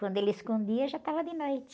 Quando ele escondia, já estava de noite.